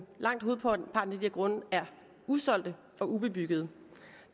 langt hovedparten af de grunde er usolgte og ubebyggede